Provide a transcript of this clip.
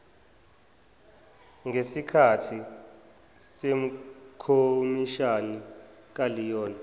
ngesikahthi sekhomishani kaleon